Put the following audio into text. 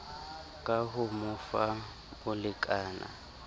ka ho mo fa bolekana